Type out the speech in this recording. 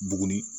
Buguni